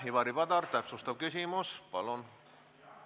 Ivari Padar, täpsustav küsimus palun!